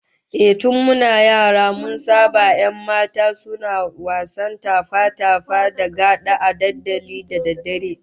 Ehh, tun muna yara mun saba 'yan mata suna wasan tafa-tafa da gada a dandalin da daddare